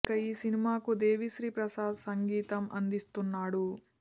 ఇక ఈ సినిమాకు దేవీ శ్రీ ప్రసాద్ సంగీతం అందిస్తున్నాడు